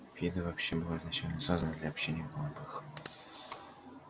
фидо вообще была изначально создана для общения голубых